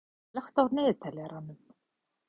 Jónar, slökktu á niðurteljaranum.